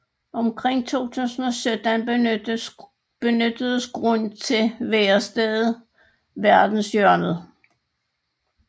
Omkring 2017 benyttedes grunden til værestedet Verdenshjørnet